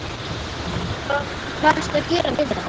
Hvað, hvað ertu að gera við þetta?